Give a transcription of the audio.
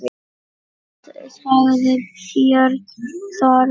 Hvað sagði Björn Þorri?